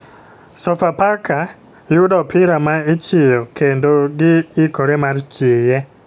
Sofa faka yudo opira ma ichiyo kendo ,gi ikore mar chiye.